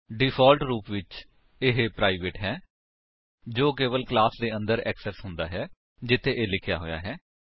default ਰੂਪ ਵਿਚ ਇਹ ਪ੍ਰਾਈਵੇਟ ਹੈ ਜੋ ਕੇਵਲ ਕਲਾਸ ਦੇ ਅੰਦਰ ਐਕਸੇਸ ਹੁੰਦਾ ਹੈ ਜਿੱਥੇ ਇਹ ਲਿਖਿਆ ਹੋਇਆ ਹੈ